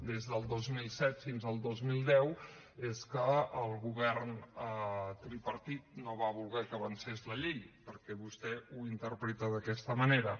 des del dos mil set fins al dos mil deu és que el govern tripartit no va voler que avancés la llei perquè vostè ho interpreta d’aquesta manera